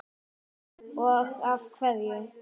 Helga: Og af hverju?